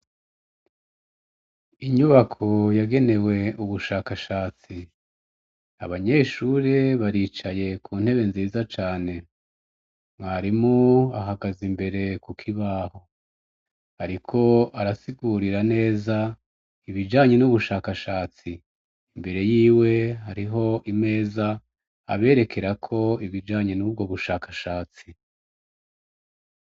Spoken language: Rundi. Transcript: Inyubako yagenewe ubushakashatsi abanyeshuri baricaye ku ntebe nziza cane mwarimo ahagaza imbere kukoibaho, ariko arasigurira neza ibijanye n'ubushakashatsi imbere yiwe hariho imeza aberekerako ibijanye n'ubwo bushakashatsi.